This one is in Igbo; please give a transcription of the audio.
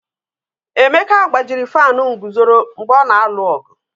Emeka gbajiri fanụ nguzoro mgbe ọ na-alụ ọgụ.